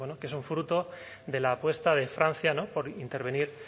que son fruto de la apuesta de francia por intervenir